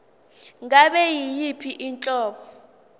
ngabe yiyiphi inhlobo